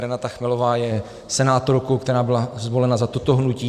Renata Chmelová je senátorkou, která byla zvolena za toto hnutí.